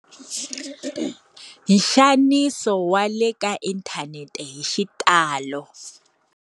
Nxaniso wa le ka inthanete hi xitalo.